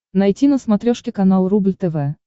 найти на смотрешке канал рубль тв